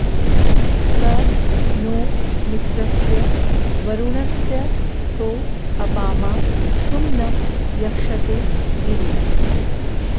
स नो॑ मि॒त्रस्य॒ वरु॑णस्य॒ सो अ॒पामा सु॒म्नं य॑क्षते दि॒वि